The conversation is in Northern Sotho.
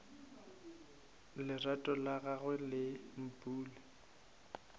lerato la gagwe le mpule